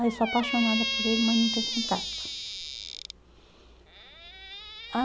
Ah, eu sou apaixonada por ele, mas não tenho contato. Ah